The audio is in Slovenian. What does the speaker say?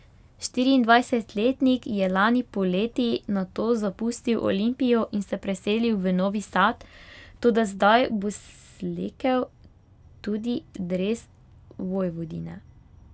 Štiriindvajsetletnik je lani poleti nato zapustil Olimpijo in se preselil v Novi Sad, toda zdaj bo slekel tudi dres Vojvodine.